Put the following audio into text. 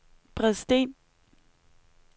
Bredsten